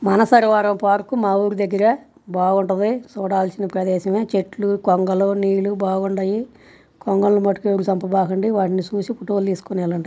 Mansarovar park మా ఊరి దగ్గర బాగుంటది. చూడాల్సిన ప్రదేశమే. చెట్లు కొంగలు నీళ్లు బాగుండాయి. కొంగల్ని మట్టుకు చంపమాకండి. వాటిని చూసి ఫొటోలు తీసుకుని ఎల్లండి.